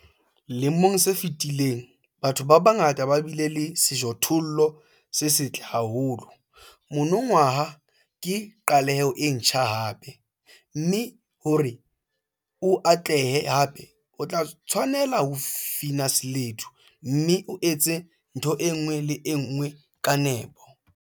Lemong se fetileng, batho ba bangata ba bile le sejothollo se setle haholo - monongwaha ke qaleho e ntjha hape, mme hore o atlehe hape, o tla tshwanela ho fina seledu, mme o etse ntho e nngwe le e nngwe ka nepo.